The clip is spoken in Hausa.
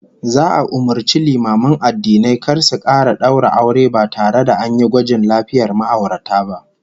Za'a umurci limaman addinai kar su kara daura aure ba tare da an yi gwajin lafiyar ma'aurata ba